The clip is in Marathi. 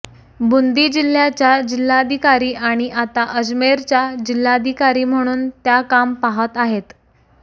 बुंदी जिल्ह्याच्या जिल्ह्याधिकारी आणि आता अजमेरच्या जिल्हाधिकारी म्हणून त्या काम पाहात आहेत